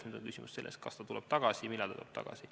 Nüüd on küsimus selles, kas ta tuleb tagasi ja millal ta tuleb tagasi.